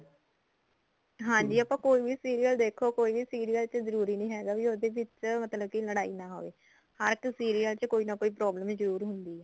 ਹਾਂਜੀ ਆਪਾਂ ਕੋਈ ਵੀ serial ਦੇਖੋ ਕੋਈ ਵੀ serial ਚ ਜਰੂਰੀ ਨੀ ਹੈਗਾ ਵੀ ਉਹਦੇ ਵਿੱਚ ਮਤਲਬ ਕਿ ਲੜ੍ਹਾਈ ਨਾ ਹੋਵੇ ਹਰ ਇੱਕ serial ਚ ਕੋਈ ਨਾ ਕੋਈ problem ਜਰੂਰ ਹੁੰਦੀ ਐ